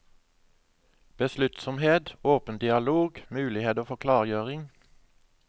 Besluttsomhet, åpen dialog, muligheter for klargjøring.